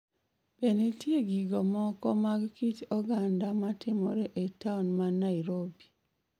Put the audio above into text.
Be nitie gigo moko mag kit oganda matimore e taon ma Nairobi?